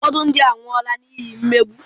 Ụfọdụ ndị anwụọla n’ihi mmegbu.